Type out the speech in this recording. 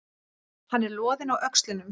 Hann er loðinn á öxlunum.